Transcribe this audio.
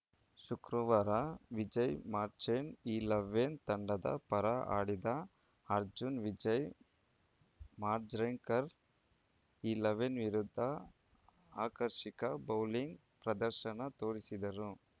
ಶುಕ್ರವಾರ ವಿಜಯ್‌ ಮರ್ಚೆಂಟ್‌ ಇಲೆವೆನ್‌ ತಂಡದ ಪರ ಆಡಿದ ಅರ್ಜುನ್‌ ವಿಜಯ್‌ ಮಾಂಜ್ರೇಕರ್‌ ಇಲೆವೆನ್‌ ವಿರುದ್ಧ ಆಕರ್ಷಿಕ ಬೌಲಿಂಗ್‌ ಪ್ರದರ್ಶನ ತೋರಿದರು